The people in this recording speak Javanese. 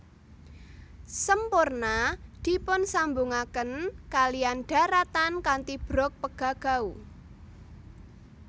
Semporna dipunsambungaken kaliyan dharatan kanthi brug Pegagau